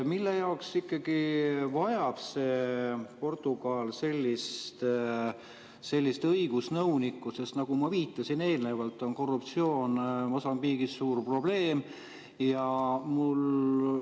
Mille jaoks ikkagi vajab Portugal sellist õigusnõunikku, sest nagu ma viitasin eelnevalt, on korruptsioon Mosambiigis suur probleem?